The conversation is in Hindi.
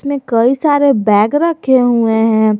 कई सारे बैग रखे हुए हैं।